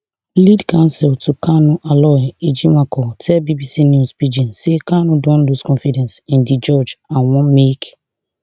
lead counsel to kanu aloy ejimakor tell bbc news pidgin say kanu don lose confidence in di judge and want make